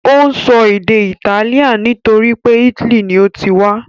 Ó ń sọ èdè Italian nítorí pé italy ni ó ti wá.